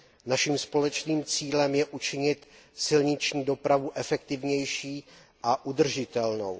Našim společným cílem je učinit silniční dopravu efektivnější a udržitelnou.